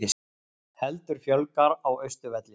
Heldur fjölgar á Austurvelli